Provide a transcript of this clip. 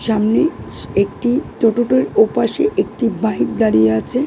সামনে একটি টোটোটার ওপাশে একটি বাইক দাঁড়িয়ে আছে ।